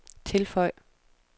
tilføj